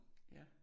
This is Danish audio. Ja